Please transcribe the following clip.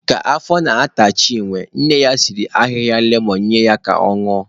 Ka afọ na-ata Chinwe, nne ya siri ahịhịa lemon nye ya ka ọ ñụọ.